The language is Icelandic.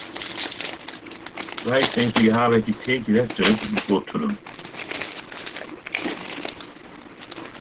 Læt eins og ég hafi ekki tekið eftir augngotunum.